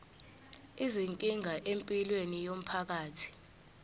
izinkinga empilweni yomphakathi